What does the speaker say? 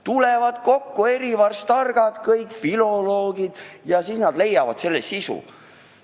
Tulevad kokku kõik targad filoloogid ja leiavad selle sisu.